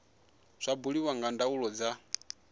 zwa buliwa nga ndaulo dza